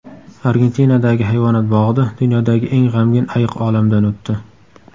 Argentinadagi hayvonot bog‘ida dunyodagi eng g‘amgin ayiq olamdan o‘tdi.